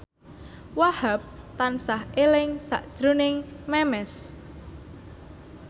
Wahhab tansah eling sakjroning Memes